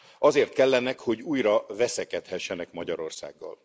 Azért kellenek, hogy újra veszekedhessenek Magyarországgal.